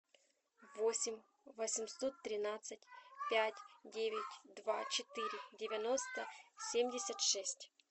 восемь восемьсот тринадцать пять девять два четыре девяносто семьдесят шесть